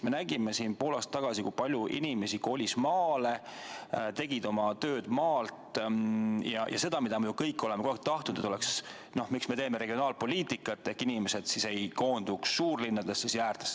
Me nägime pool aastat tagasi, kui palju inimesi kolis maale, tegid oma tööd maalt ja seda, mida me kõik oleme tahtnud, et – miks me teeme regionaalpoliitikat – inimesed ei koonduks suurlinnadesse.